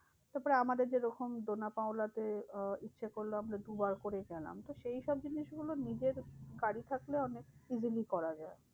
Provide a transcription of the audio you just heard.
তারপরে আমাদের যেরকম ডোনা পাওলা তে আহ ইচ্ছা করলো আমরা দুবার করে গেলাম। তো সেই সব জিনিসগুলো নিজের গাড়ি থাকলে অনেক easily করা যায়।